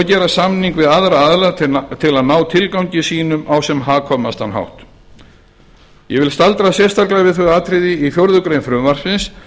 gera samninga við aðra aðila til að ná tilgangi sínum á sem hagkvæmastan hátt ég vil staldra sérstaklega við þau atriði í fjórðu grein frumvarpsins